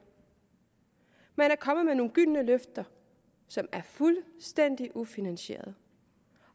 man er kommet med nogle gyldne løfter som er fuldstændig ufinansierede